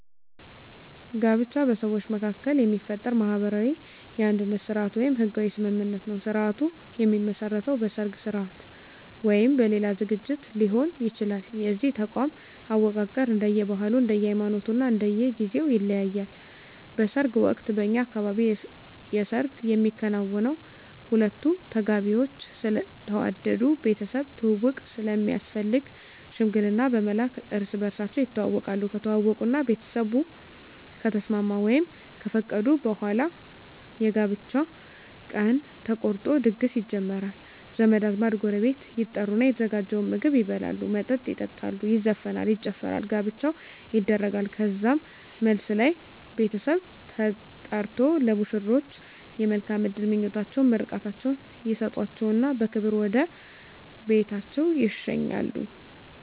ጋብቻ በሰዎች መካከል የሚፈጠር ማህበራዊ የአንድነት ስርአት ወይም ህጋዊ ስምምነት ነዉ ስርአቱ የሚመሰረተዉ በሰርግ ስርአት ወይም በሌላ ዝግጅት ሊሆን ይችላል የዚህ ተቋም አወቃቀር እንደየ ባህሉ እንደየ ሃይማኖቱ እና እንደየ ጊዜዉ ይለያያል በሰርግ ወቅት በእኛ አካባቢ የሰርግ የሚከናወነዉ ሁለቱ ተጋቢዎች ስለተዋደዱ ቤተሰብ ትዉዉቅ ስለሚያስፈልግ ሽምግልና በመላክ እርስ በርሳቸዉ ይተዋወቃሉ ከተዋወቁእና ቤተሰብ ከተስማሙ ወይም ከፈቀዱ በኋላ የጋብቻ ቀን ተቆርጦ ድግስ ይጀመራል ዘመድ አዝማድ ጎረቤት ይጠሩና የተዘጋጀዉን ምግብ ይበላሉ መጠጥ ይጠጣሉ ይዘፈናል ይጨፈራል ጋብቻዉ ይደረጋል ከዛም መልስ ላይ ቤተሰብ ተጠርቆ ለሙሽሮች የመልካም እድል ምኞታቸዉን ምርቃታቸዉን ይሰጧቸዉና በክብር ወደ ቤታቸዉ ይሸኛሉ